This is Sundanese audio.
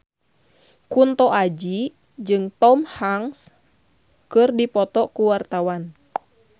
Kunto Aji jeung Tom Hanks keur dipoto ku wartawan